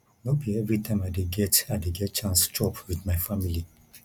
no be everytime i dey get i dey get chance chop wit my family